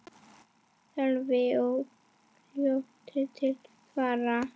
Sölvi er fljótur til svars.